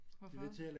Hvorfor